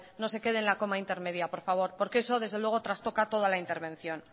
no se quede en la coma intermedia por favor porque eso desde luego trastoca toda la intervención